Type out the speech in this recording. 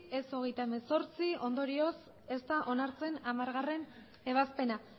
ez hogeita hemezortzi ondorioz ez da onartzen hamargarrena ebazpena